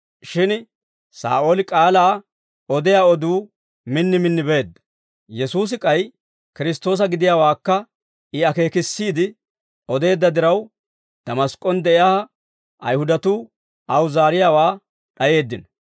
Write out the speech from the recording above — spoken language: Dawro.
Shin Saa'ooli k'aalaa odiyaa oduu min min beedda; Yesuusi k'ay Kiristtoosa gidiyaawaakka I akeekissiide odeedda diraw, Damask'k'on de'iyaa Ayihudatuu aw zaariyaawaa d'ayeeddino.